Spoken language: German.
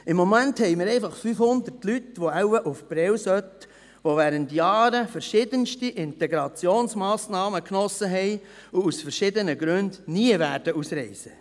Im Moment haben wir einfach 500 Personen, die wohl nach Prêles sollten, die während Jahren verschiedenste Integrationsmassnahmen genossen haben und aus verschiedenen Gründen nie ausreisen werden.